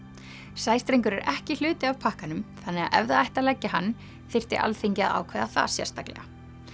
sæstrengur er ekki hluti af pakkanum þannig að ef það ætti að leggja hann þyrfti Alþingi að ákveða það sérstaklega